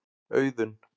Auðun